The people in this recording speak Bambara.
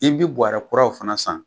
I bi buwarɛ kuraw fana san.